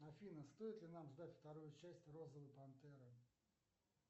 афина стоит ли нам ждать вторую часть розовой пантеры